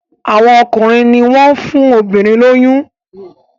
Àwọn ọkùnrin ní wón fún obìrin lóyún.